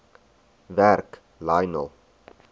werk lionel